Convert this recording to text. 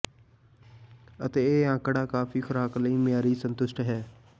ਅਤੇ ਇਹ ਅੰਕੜਾ ਕਾਫ਼ੀ ਖੁਰਾਕ ਲਈ ਮਿਆਰੀ ਸੰਤੁਸ਼ਟ ਹੈ